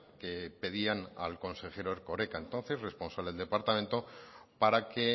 que pedían al consejero erkoreka entonces responsable del departamento para que